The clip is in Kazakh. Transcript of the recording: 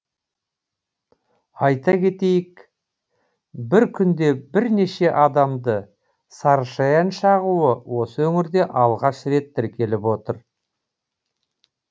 айта кетейік бір күнде бірнеше адамды сарышаян шағуы осы өңірде алғаш рет тіркеліп отыр